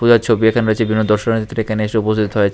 যা ছবি এখানে রয়েছে বিভিন্ন দর্শনার্থীরা এখানে এসে উপস্থিত হয়েছে।